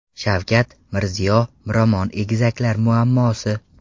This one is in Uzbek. Shavkat, Mirziyo, Miromon egizaklar muammosi.